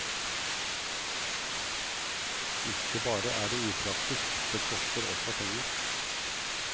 Ikke bare er det upraktisk, det koster også penger.